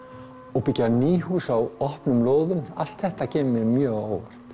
og byggja ný hús á opnum lóðum allt þetta kemur mér mjög á óvart